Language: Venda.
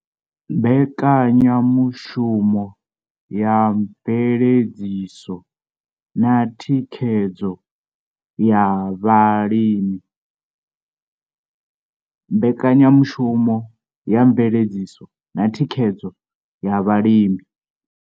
Mbekanyamushumo ya Mveledziso na Thikhedzo ya Vhalimi.